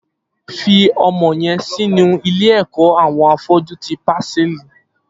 Fi ọmọ yèn sinú ilé ẹkọ awọn áfọ̀jù ti pàsẹlí